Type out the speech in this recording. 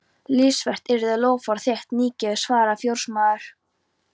Lítilsvert yrði þá loforð þitt nýgefið, svaraði fjósamaður.